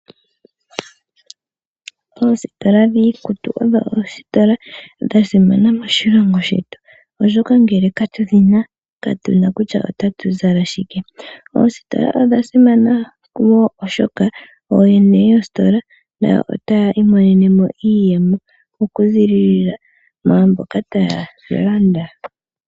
Oositola dhiikutu odho oositola dha simana moshilongo shetu oshoka ngele katudhi na ka tu na kutya otatu zala shike. Oositola odha simana wo oshoka ooyene yoositola nayo otaya imonenemo iiyemo okuzilila mwaamboka taya landa.